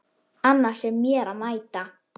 Annars er mér að mæta!